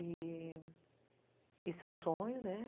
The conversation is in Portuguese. E, isso é um sonho, né.